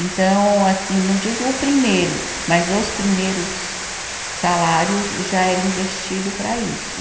Então, assim, não digo o primeiro, mas os primeiros salários já eram investido para isso.